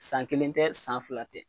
San kelen tɛ san fila tɛ